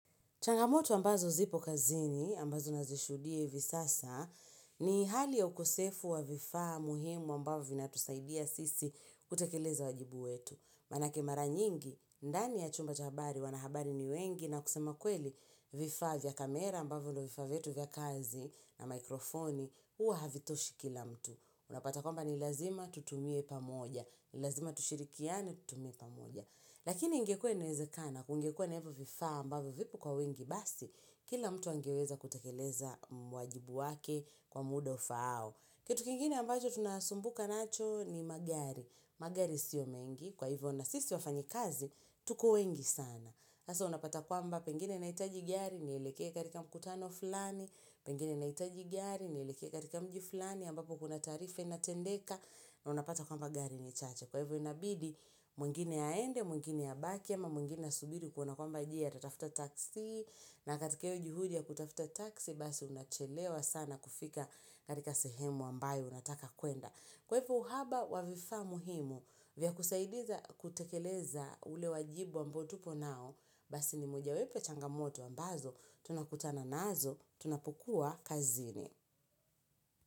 Changamoto ambazo zipo kazini, ambazo nazishuhudia hivi sasa, ni hali ya ukosefu wa vifaa muhimu ambavyo vinatusaidia sisi kutekeleza wajibu wetu. Manake mara nyingi, ndani ya chumba cha habari, wanahabari ni wengi na kusema kweli vifaa vya kamera ambavyo vifaa vetu vya kazi na mikrofoni, huwa havitoshi kila mtu. Unapata kwamba ni lazima tutumie pamoja, ni lazima tushirikiane tutumie pamoja. Lakini ingekuwa inawezekana, kungekua na hivyo vifaa mbavyo vipo kwa wengi basi, kila mtu angeweza kutekeleza mwajibu wake kwa muda ufaao. Kitu kingine ambacho tunasumbuka nacho ni magari. Magari sio mengi, kwa hivyo na sisi wafanyikazi, tuko wengi sana. Sasa unapata kwamba pengine nahitaji gari, nielekee katika mkutano fulani, pengine nahitaji gari, nielekee katika mji fulani, ambapo kuna taarifa inatendeka, na unapata kwamba gari ni chache. Kwa hivyo inabidi mwingine aende, mwingine abaki ama mwingine asubiri kuona kwamba je atatafuta taksi na katika hiyo juhudi ya kutafuta taksi basi unachelewa sana kufika katika sehemu ambayo unataka kwenda. Kwa hivyo uhaba wa vifaa muhimu vya kusaidia kutekeleza ule wajibu ambao tupo nao basi ni moja wapo ya changamoto ambazo tunakutana nazo tunapukua kazini.